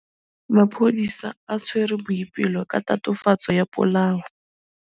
Maphodisa a tshwere Boipelo ka tatofatsô ya polaô.